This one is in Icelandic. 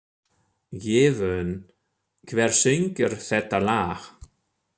Gefjun, hver syngur þetta lag?